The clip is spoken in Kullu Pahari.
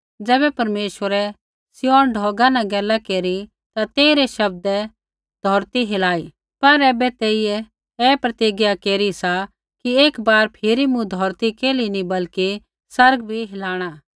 ज़ैबै परमेश्वरै सिय्योन ढौगा न गैल केरी ता तेइरै शब्दै धौरती हिलाई पर ऐबै तेइयै ऐ प्रतिज्ञा केरी सा कि एक बार फिरी मूँ धौरती केल्ही नी बल्कि आसमान बी हिलाणै